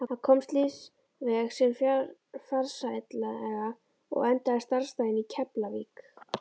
Hann komst lífsveg sinn farsællega og endaði starfsdaginn í Keflavík.